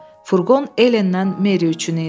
Furqon Helendən Meri üçün idi.